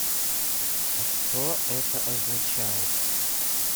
а что это означает